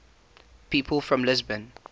people from lisbon